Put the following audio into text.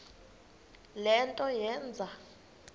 le nto yenze